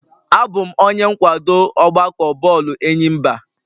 Abụ m onye nkwado ọgbakọ bọọlụ enyimba